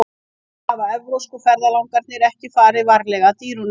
Sennilega hafa evrópsku ferðalangarnir ekki farið varlega að dýrunum.